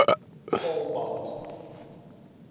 vaalbank